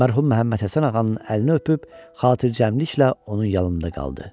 Mərhum Məhəmməd Həsən ağanın əlini öpüb xatircəmliklə onun yanında qaldı.